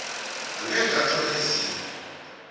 angeke athola ezinye